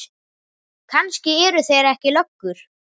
Kannski eru þeir ekki löggur.